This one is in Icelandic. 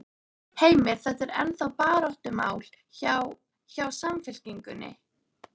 Heimir: Þetta er ennþá baráttumál hjá, hjá Samfylkingunni?